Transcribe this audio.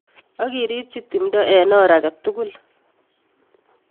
Ak iribchi timdo en or agetukul.